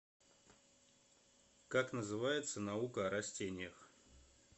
как называется наука о растениях